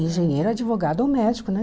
Engenheiro, advogado ou médico, né?